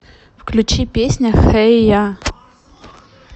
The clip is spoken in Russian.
включи песня хей я